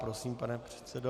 Prosím, pane předsedo.